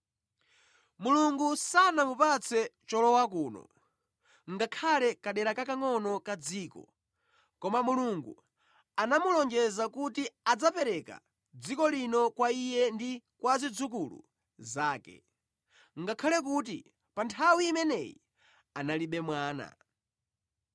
Mulungu sanamupatse cholowa kuno, ngakhale kadera kakangʼono kadziko. Koma Mulungu anamulonjeza kuti adzapereka dziko lino kwa iye ndi kwa zidzukulu zake, ngakhale kuti pa nthawi imeneyi analibe mwana.